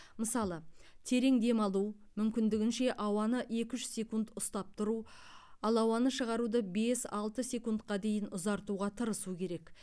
мысалы терең демалу мүмкіндігінше ауаны екі үш секунд ұстап тұру ал ауаны шығаруды бес алты секундқа дейін ұзартуға тырысу керек